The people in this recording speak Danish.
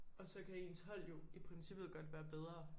Og så kan ens hold jo i princippet godt være bedre